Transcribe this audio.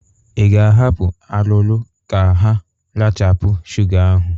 Ị ga-ahapụ arụrụ ka ha rachapụ shụga ahụ?